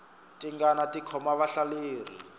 tingana ti khoma vahlaleri